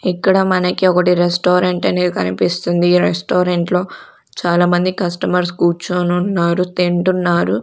ఇక్కడ మనకి ఒకటి రెస్టారెంట్ అనేది కనిపిస్తుంది ఈ రెస్టారెంట్ లో చాలా మంది కస్టమర్స్ కూర్చొనున్నారు తింటున్నారు.